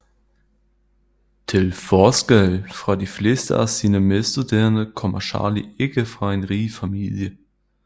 Til forskel fra de fleste af sine medstuderende kommer Charlie ikke fra en rig familie